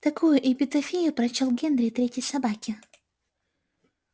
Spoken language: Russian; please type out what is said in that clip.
такую эпитафию прочёл генри третьей собаке